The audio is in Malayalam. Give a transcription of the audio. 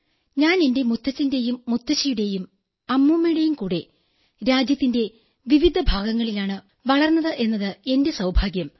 ഞാൻ എന്റെ മുത്തച്ഛന്റെയും മുത്തശ്ശിയുടെയും അമ്മൂമ്മയുടെയും കൂടെ രാജ്യത്തിന്റെ വിവിധ ഭാഗങ്ങളിലാണ് വളർന്നത് എന്നത് എന്റെ സൌഭാഗ്യം